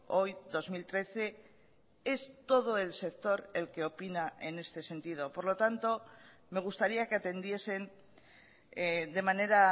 hoy dos mil trece es todo el sector el que opina en este sentido por lo tanto me gustaría que atendiesen de manera